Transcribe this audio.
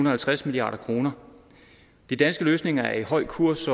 og halvtreds milliard kroner de danske løsninger er i høj kurs